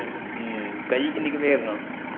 ਹਮ ਕਹੀ ਕਿੰਨੀ ਕ ਫੇਰਨਾ।